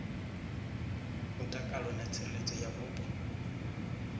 mutakalo na tsireledzo ya mupo